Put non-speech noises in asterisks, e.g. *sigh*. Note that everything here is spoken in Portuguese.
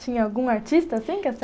Tinha algum artista assim *unintelligible*